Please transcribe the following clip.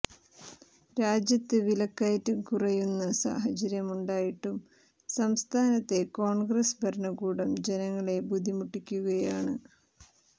രാജ്യത്ത് വിലക്കയറ്റം കുറയുന്ന സാഹചര്യമുണ്ടായിട്ടും സംസ്ഥാനത്തെ കോണ്ഗ്രസ് ഭരണകൂടം ജനങ്ങളെ ബുദ്ധിമുട്ടിക്കുകയാണ്